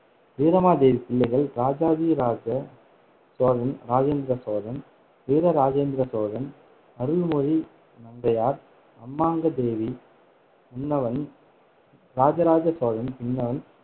வீரமாதேவி பிள்ளைகள் இராஜாதிராஜ சோழன், இராஜேந்திர சோழன், வீர ராஜேந்திர சோழன், அருள்மொழி நங்கையார், அம்மங்காதேவி, முன்னவன் இராஜராஜ சோழன், பின்னவன்